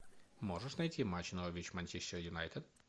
можешь найти матч норвич манчестер юнайтед